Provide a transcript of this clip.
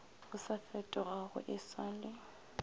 o sa fetogago e sale